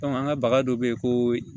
an ka baga dɔ bɛ yen ko